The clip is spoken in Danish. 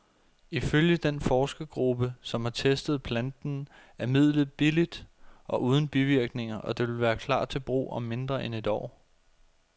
Ifølge den forskergruppe, som har testet planten, er midlet billigt og uden bivirkninger, og det vil klar til brug om mindre end et år.